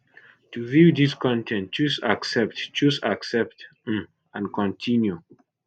to view dis con ten t choose accept choose accept um and continue